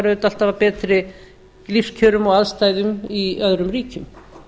auðvitað alltaf af betri lífskjörum og aðstæðum í öðrum ríkjum